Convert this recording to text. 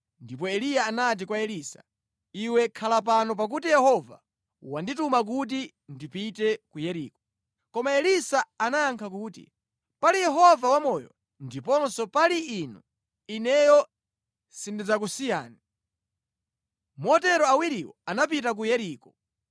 Ndipo Eliya anati kwa Elisa, “Iwe khala pano pakuti Yehova wandituma kuti ndipite ku Yeriko.” Koma Elisa anayankha kuti, “Pali Yehova wamoyo ndiponso pali inu, ineyo sindidzakusiyani.” Motero awiriwo anapita ku Yeriko.